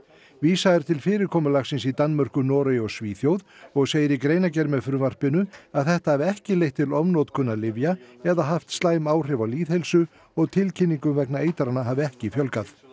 vísað er til fyrirkomulagsins í Danmörku Noregi og Svíþjóð og segir í greinargerð með frumvarpinu að þetta hafi ekki leitt til ofnotkunar lyfja eða haft slæm áhrif á lýðheilsu og tilkynningum vegna eitrana hafi ekki fjölgað